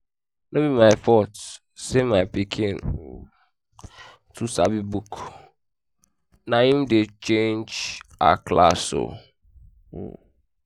no be my fault dem say my pikin um too know book na im dey um change her class um